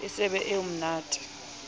e se be eo mmate